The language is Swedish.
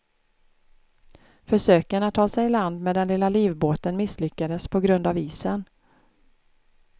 Försöken att ta sig iland med den lilla livbåten misslyckades på grund av isen.